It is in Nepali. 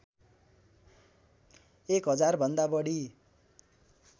एक हजारभन्दा बढी